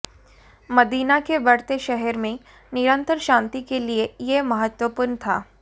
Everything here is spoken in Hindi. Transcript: मदीना के बढ़ते शहर में निरंतर शांति के लिए यह महत्वपूर्ण था